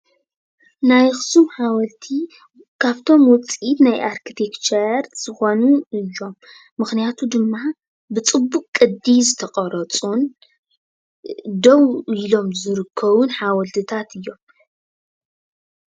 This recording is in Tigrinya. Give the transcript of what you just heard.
ናይ ኣኽሱም ሓወልቲ ካፍቶም ውፅኢት ናይ ኣርክተክቸር ዝኾኑ እዮም፡፡ ምኽንያቱ ድማ ብፅቡቅ ቅዲ ዝተቀረፁን ደው ኢሎም ዝርከቡን ሓወልትታት እዮም፡፡